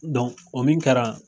o min kɛra